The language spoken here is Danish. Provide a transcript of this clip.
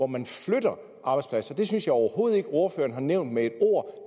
man flytter arbejdspladser det synes jeg overhovedet ikke ordføreren har nævnt med et ord